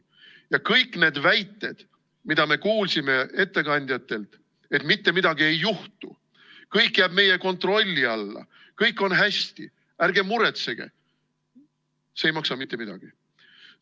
Ja kõik need väited, mida me kuulsime ettekandjatelt, et mitte midagi ei juhtu, kõik jääb meie kontrolli alla, kõik on hästi, ärge muretsege – see ei maksa mitte midagi.